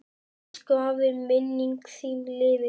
Elsku afi, minning þín lifir.